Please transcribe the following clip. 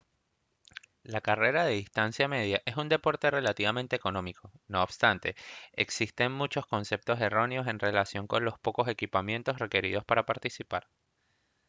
la carrera de distancia media es un deporte relativamente económico no obstante existen muchos conceptos erróneos en relación con los pocos equipamientos requeridos para participar